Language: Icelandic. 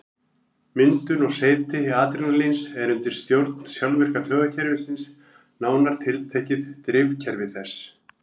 Myndun og seyti adrenalíns er undir stjórn sjálfvirka taugakerfisins, nánar tiltekið drifkerfi þess.